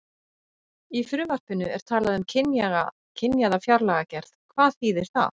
Í frumvarpinu er talað um kynjaða fjárlagagerð, hvað þýðir það?